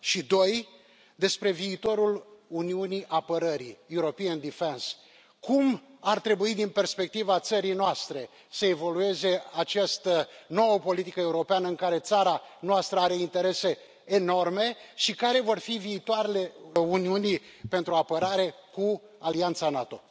Și doi, despre viitorul uniunii apărării European defence cum ar trebui din perspectiva țării noastre să evolueze această nouă politică europeană în care țara noastră are interese enorme și care va fi viitorul uniunii pentru apărare cu alianța NATO?